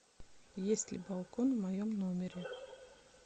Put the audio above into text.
есть ли балкон в моем номере